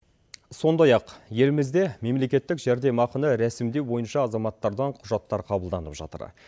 сондай ақ елімізде мемлекеттік жәрдемақыны рәсімдеу бойынша азаматтардан құжаттар қабылданып жатыр